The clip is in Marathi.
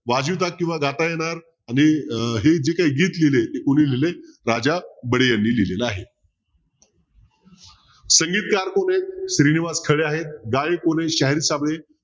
वाजविता किंवा गाता येणार आणि हे जे काय गीत लिहिले ते कोणी लिहिले राजा बडे यांनी लिहिले आहे संगीतकार कोण आहे श्रीनिवास खरे आहेत गायक शाहीर साबळे